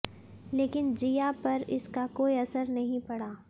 लेकिन ज़िया पर इसका कोई असर नहीं पड़ा